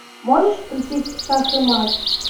можешь включить шах и мат